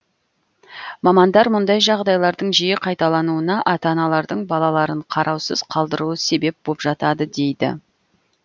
мамандар мұндай жағдайлардың жиі қайталануына ата аналардың балаларын қараусыз қалдыруы себеп боп жатады дейді